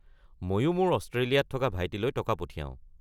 মইও মোৰ অষ্ট্ৰেলিয়াত থকা ভাইটিলৈ টকা পঠিয়াও।